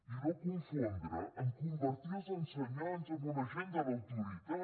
i no confondre amb convertir els ensenyants amb un agent de l’autoritat